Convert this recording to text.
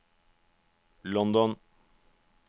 London